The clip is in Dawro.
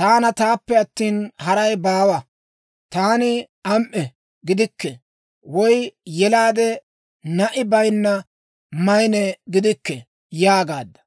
‹Taana; taappe attina, haray baawa. Taani am"e gidikke; woy yelaade na'i bayinna maynne gidikke› yaagaadda.